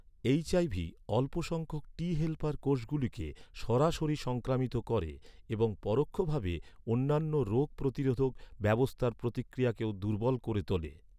HIV অল্প সংখ্যক টি হেল্পার কোষগুলিকে সরাসরি সংক্রামিত করে এবং পরোক্ষভাবে অন্যান্য রোগ প্রতিরোধক ব্যবস্থার প্রতিক্রিয়াকেও দুর্বল করে তোলে।